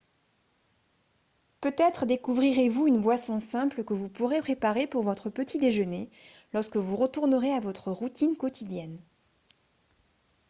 peut-être découvrirez-vous une boisson simple que vous pourrez préparer pour votre petit déjeuner lorsque vous retournerez à votre routine quotidienne